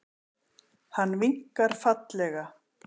Hann vinkar fallega.